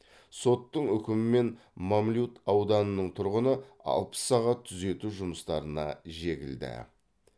соттың үкімімен мамлют ауданының тұрғыны алпыс сағат түзету жұмыстарына жегілді